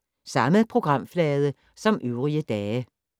Samme programflade som øvrige dage